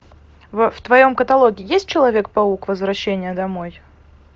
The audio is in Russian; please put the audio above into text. в твоем каталоге есть человек паук возвращение домой